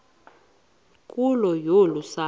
nkulu yolu sapho